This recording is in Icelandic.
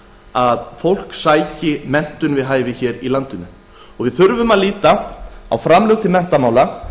að fólk sæki sér menntun við hæfi við þurfum að líta á framlög til menntamála